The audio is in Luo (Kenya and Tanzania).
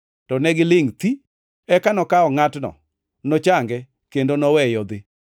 To negilingʼ thi. Eka nokawo ngʼatno, nochange kendo noweye odhi.